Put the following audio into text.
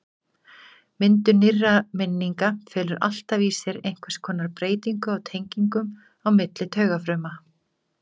Myndun nýrra minninga felur alltaf í sér einhvers konar breytingu á tengingum á milli taugafruma.